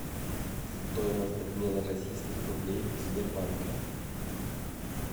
стоимость обмена российских рублей в сбербанке